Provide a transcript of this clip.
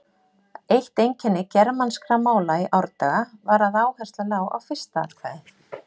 Eitt einkenni germanskra mála í árdaga var að áhersla lá á fyrsta atkvæði.